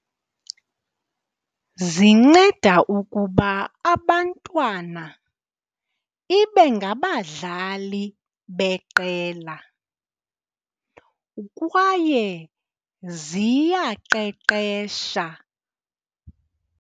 Zinceda ukuba abantwana ibe ngabadlali beqela kwaye ziyaqeqeshwa.